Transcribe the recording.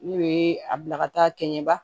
N'o ye a bila ka taa kɛɲɛba